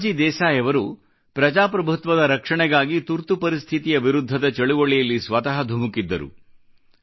ಮೊರಾರ್ಜಿ ದೇಸಾಯಿ ಅವರು ಪ್ರಜಾಪ್ರಭುತ್ವದ ರಕ್ಷಣೆಗಾಗಿ ತುರ್ತು ಪರಿಸ್ಥಿತಿಯ ವಿರುದ್ಧದ ಆಪತ್ಕಾಲದ ಚಳವಳಿಯಲ್ಲಿ ಸ್ವತಃ ಧುಮುಕಿದ್ದರು